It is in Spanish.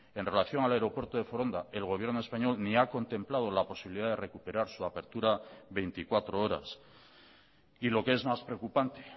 en relación al aeropuerto de foronda el gobierno español ni ha contemplado la posibilidad de recuperar su apertura veinticuatro horas y lo que es más preocupante